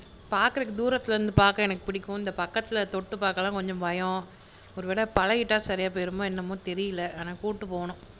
பாக்கறதுக்கு தூரத்துல இருந்து பாக்குறதுக்கு எனக்கு பிடிக்கும் பக்கத்துல தொட்டு பாக்க எல்லாம் கொஞ்சம் பயம் ஒருவேளை பழகிட்டா சரியா போயிருமோ என்னமோ தெரியல அவன கூப்பிட்டுட்டு போணும்